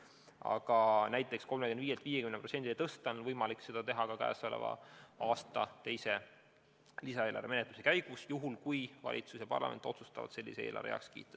Aga näiteks 35%-lt 50%-ni tõsta on võimalik ja teha ka käesoleva aasta teise lisaeelarve menetluse käigus, juhul kui valitsus ja parlament otsustavad sellise eelarve heaks kiita.